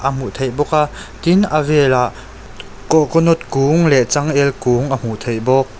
a hmuh theih bawk a tin a velah coconut kung leh changel kung a hmuh theih bawk.